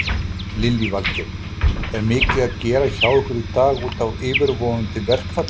Lillý Valgerður: Er mikið að gera hjá ykkur í dag útaf yfirvofandi verkfalli?